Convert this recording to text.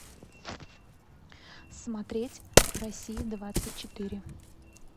смотреть россия двадцать четыре